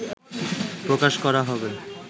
প্রকাশ করা হবে